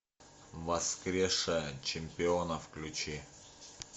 воскрешая чемпиона включи